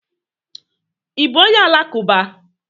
I bú onye alakuba?